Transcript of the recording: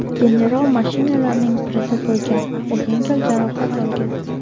General mashinalarning birida bo‘lgan, u yengil jarohat olgan.